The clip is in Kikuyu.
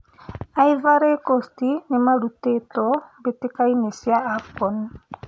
Ivory Coast nĩmarũtĩtwo mbĩtĩka-inĩ cia AFCON